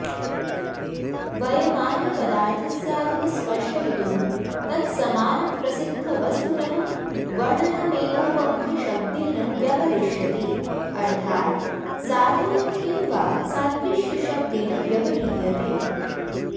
वयमानपदार्थस्याधिकस्पष्टयितुं तत्समानप्रसिद्धवस्तुनः वर्णनमेवौपम्यशब्देन व्यपदिश्यते अर्थात् साधयं किम्वा सादृश्यशब्देन व्यवह्रियते